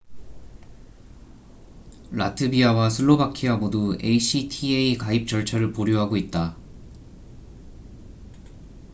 라트비아와 슬로바키아 모두 acta 가입 절차를 보류하고 있다